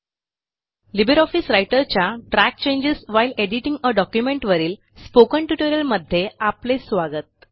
Libre office रायटरच्या track changes while editing a document वरील spoken ट्युटोरियलमध्ये आपले स्वागत